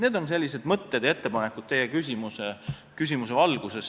Need on sellised mõtted ja ettepanekud teie küsimuse valguses.